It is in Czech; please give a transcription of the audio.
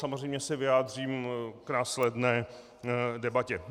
Samozřejmě se vyjádřím k následné debatě.